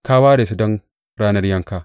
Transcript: Ka ware su don ranar yanka!